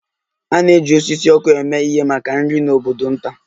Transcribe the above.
A na-eji osisi ọkụ eme ihe maka nri n'obodo nta.